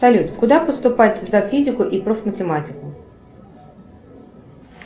салют куда поступать сдав физику и проф математику